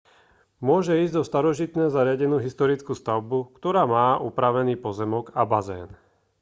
môže ísť o starožitne zariadenú historickú stavbu ktorá má upravený pozemok a bazén